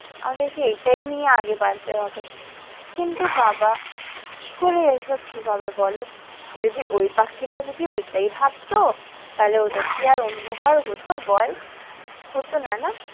আমাদেরকে এটাই নিয়ে আগে বাড়তে হবে কিন্তু বাবা কি করে এই সব ঠিক হবে বলো যদি ওই পাখিরাও যদি ওটাই ভাবতো তাহলে ওদের কি আর অন্য ঘর হত বল হতনা না।